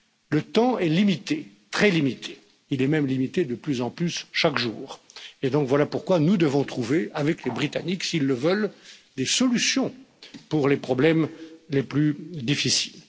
Le temps est limité, très limité, il est même limité de plus en plus chaque jour, et voilà donc pourquoi nous devons trouver avec les Britanniques, s'ils le veulent, des solutions pour les problèmes les plus difficiles.